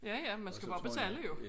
Ja ja man skal bare betale jo